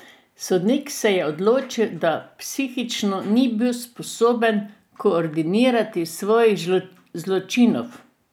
Sodnik se je odločil, da psihično ni bil sposoben koordinirati svojih zločinov.